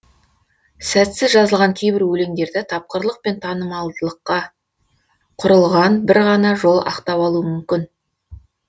сәтсіз жазылған кейбір өлеңдерді тапқырлық пен танымалдылыққа құрылған бір ғана жол ақтап алуы мүмкін